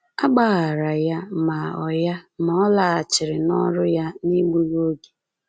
A gbaghaara ya, ma ọ ya, ma ọ laghachiri n’ọrụ ya n’egbughị oge.